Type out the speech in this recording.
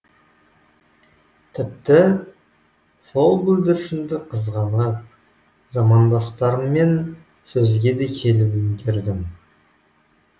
тіпті сол бүлдіршінді қызғанып замандастарыммен сөзге де келіп үлгердім